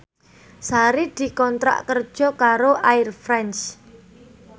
Sari dikontrak kerja karo Air France